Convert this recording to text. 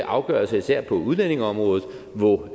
afgørelser især på udlændingeområdet hvor